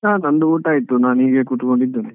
ಹಾ ನಂದು ಊಟ ಆಯ್ತು, ನಾನ್ ಹೀಗೆ ಕೂತ್ಕೊಂಡಿದ್ದೆನೆ.